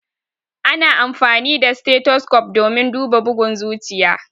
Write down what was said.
Ana amfani da stethoscope domin duba bugun zuciya.